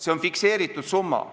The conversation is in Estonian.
See on fikseeritud summa.